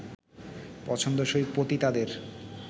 পছন্দসই পতিতাদের